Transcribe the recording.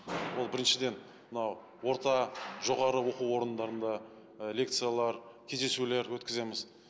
ол біріншіден мынау орта жоғарғы оқу орындарында і лекциялар кездесулер өткіземіз